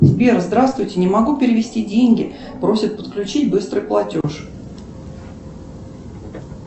сбер здравствуйте не могу перевести деньги просит подключить быстрый платеж